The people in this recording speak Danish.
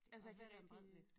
Altså jeg kan rigtig